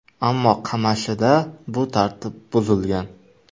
Ammo Qamashida bu tartib buzilgan.